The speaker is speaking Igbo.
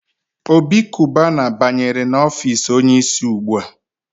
Obi Kubana banyere n'ọfici onye isi ugbua.